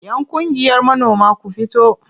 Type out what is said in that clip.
Yan ƙungiyar manoma ku fito!